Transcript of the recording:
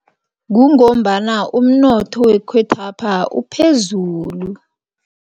Kungombana umnotho wekhethwapha uphezulu.